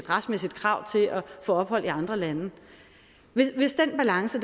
retsmæssigt krav til at få ophold i andre lande hvis den balance